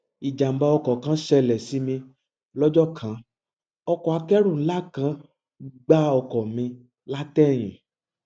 ìjàǹbá ọkọ kan ṣẹlẹ sí mi lọjọ kan ọkọ akẹrù ńlá kan gbá ọkọ mi látẹyìn